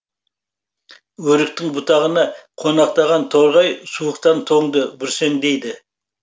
өріктің бұтағына қонақтаған торғай суықтан тоңды бүрсеңдейді